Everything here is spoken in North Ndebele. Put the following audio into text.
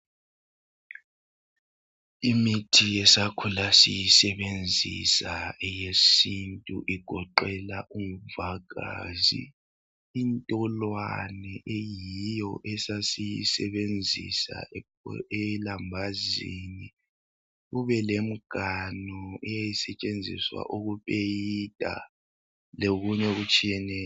Imithi esakhula siyisebenzisa eyesintu igoqela umvagazi, intolwane eyiyo esasiyisebenzisa elambazini kube lemganu eyayisetshenziswa ukupeyita lokunye okutshiyeneyo.